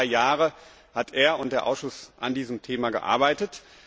Über drei Jahre haben er und der Ausschuss an diesem Thema gearbeitet.